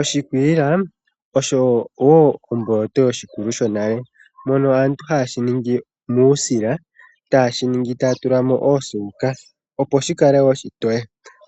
Oshikwiila osho woo omboloto yoshikulu sho nale . Aantu ohaye shi ningi muusila. Taye shiningi taya tula mo osuuka opo shikale oshitoye .